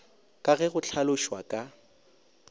ka ge go hlalošwa ka